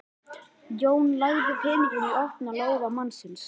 Jón lagði peninginn í opinn lófa mannsins.